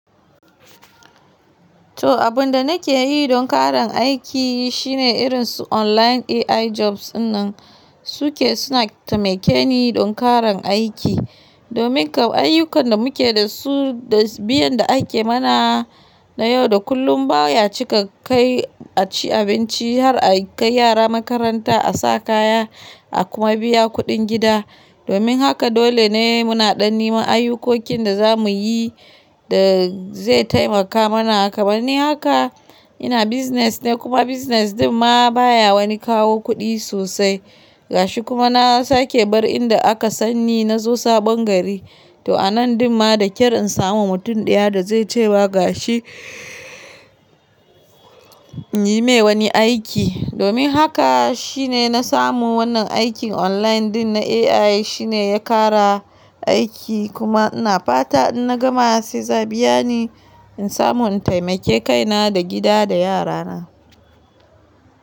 To, abin da nake yi don ƙarin aiki shine irin su online AI jobs wannan suke suna taimake ni don ƙaran aiki. Domin kam ayyukan da muke da su da biyan da ake mana na yau da kullum baya cika kai a ci abinci har a kai yara makaranta, a sa kaya a kuma biya kuɗin gida. Domin haka dole ne muna ɗanni ma ayyukokin da za mu yi da zai taimaka mana. Kamar ni haka ina business ne kuma business ɗin ma baya wani kawo kuɗi sosai. Gashi kuma na sake bar in da aka sanni na zo sabon gari. To anan ɗin ma da kyar in samu mutum ɗaya da zai cewa gashi in yi mai wani aiki. Domin haka shine na samu wannan aikin online ɗin na AI shine ya ƙara aiki kuma ina fata in na gama se za'a biya ni in samu in taimake kaina da gida da yarana.